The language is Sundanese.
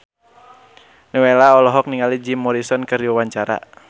Nowela olohok ningali Jim Morrison keur diwawancara